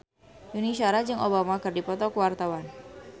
Yuni Shara jeung Obama keur dipoto ku wartawan